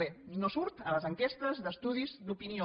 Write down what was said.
bé no surt a les enquestes d’estudis d’opinió